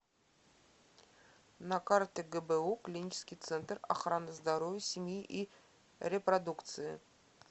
на карте гбу клинический центр охраны здоровья семьи и репродукции